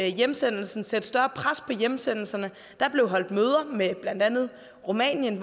hjemsendelsen sætte større pres på hjemsendelserne der blev holdt møder med blandt andet rumænien